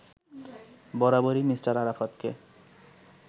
বরাবরই মি: আরাফাতকে